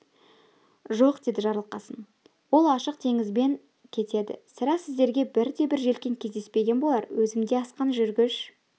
жоқ деді жарылқасын олар ашық теңізбен кетеді сірә сіздерге бірде-бір желкен кездеспеген болар өзім де асқан жүргіш